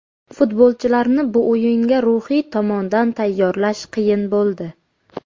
Futbolchilarni bu o‘yinga ruhiy tomondan tayyorlash qiyin bo‘ldi.